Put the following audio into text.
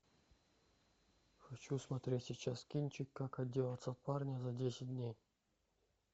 хочу смотреть сейчас кинчик как отделаться от парня за десять дней